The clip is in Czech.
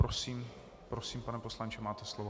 Prosím, pane poslanče, máte slovo.